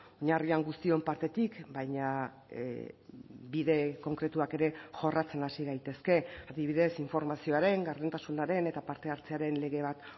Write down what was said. oinarrian guztion partetik baina bide konkretuak ere jorratzen hasi gaitezke adibidez informazioaren gardentasunaren eta parte hartzearen lege bat